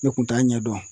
Ne kun t'a ɲɛdɔn